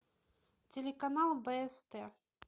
телеканал бст